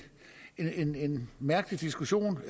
mærkelig diskussion